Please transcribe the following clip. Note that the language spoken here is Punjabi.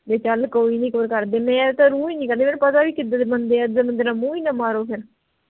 ਵੀ ਚਲ ਕੋਈ ਨੀ ਇਕ ਵਰ ਕਰ ਦਿਣੇ ਐ ਤਾਂ ਰੂਹ ਹੀ ਨੀ ਕਰਦੀ ਮੈਂਨੂੰ ਪਤਾ ਆ ਵੀ ਕਿਦਾਂ ਦੇ ਬੰਦੇ ਆ ਏਦਾਂ ਦੇ ਬੰਦੇ ਨਾਲ ਮੂੰਹ ਹੀ ਨਾ ਮਾਰੋ ਫੇਰ